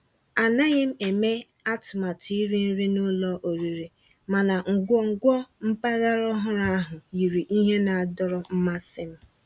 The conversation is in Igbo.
Ànàghị́ m èmé àtụ̀màtụ́ írì nrí ná ụ́lọ̀ ọ̀rị́rị́, mànà nkwonkwo mpàgàrà ọ̀hụ́rụ́ ahụ́ yìrí íhè ná-àdọ̀rọ́ mmàsí m.